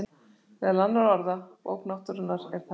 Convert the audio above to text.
Meðal annarra orða: Bók náttúrunnar,- er það eftir yður?